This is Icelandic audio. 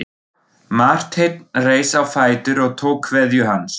Marteinn reis á fætur og tók kveðju hans.